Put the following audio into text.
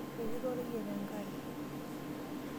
Eiputa oreyiet enkare.